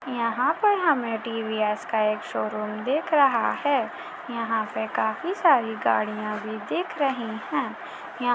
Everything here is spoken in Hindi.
यंहा पर हमें टी_वी _एस का शोरूम दिख रहा है यंहा पे काफी सारी गाड़िया भी दिख रही है यहाँ --